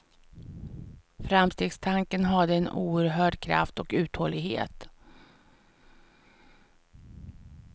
Framstegstanken hade en oerhörd kraft och uthållighet.